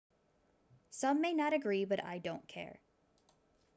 some may not agree but i don't care